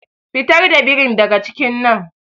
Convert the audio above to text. Fitar da birin daga cikin nan.